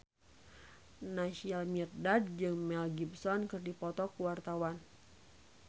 Naysila Mirdad jeung Mel Gibson keur dipoto ku wartawan